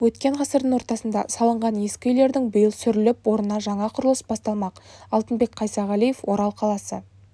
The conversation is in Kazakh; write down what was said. өткен ғасырдың ортасында салынған ескі үйлердің биыл сүріліп орнына жаңа құрылыс басталмақ алтынбек қайсағалиев орал қаласы